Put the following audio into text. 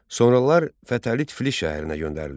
Sonralar Fətəli Tiflis şəhərinə göndərilir.